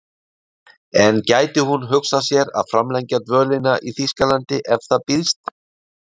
En gæti hún hugsað sér að framlengja dvölinni í Þýskalandi ef það býðst?